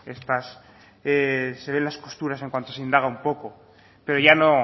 las costuras en cuanto se indaga un poco pero ya